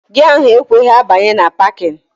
Gia ahụ ekweghị abanye na 'pakịn'